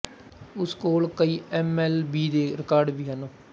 ਉਸ ਕੋਲ ਕਈ ਐਮ ਐਲ ਬੀ ਦੇ ਰਿਕਾਰਡ ਵੀ ਹਨ